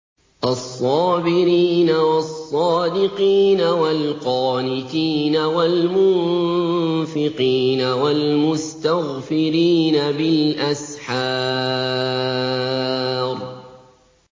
الصَّابِرِينَ وَالصَّادِقِينَ وَالْقَانِتِينَ وَالْمُنفِقِينَ وَالْمُسْتَغْفِرِينَ بِالْأَسْحَارِ